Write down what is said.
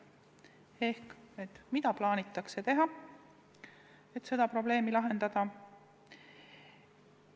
Ehk: mida plaanitakse teha, et seda probleemi lahendada?